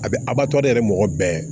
A bɛ a b'a tɔ ale yɛrɛ mɔgɔ bɛɛ